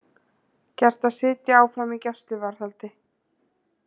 Gert að sitja áfram í gæsluvarðhaldi